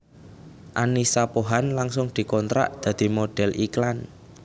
Annisa Pohan langsung dikontrak dadi modhél iklan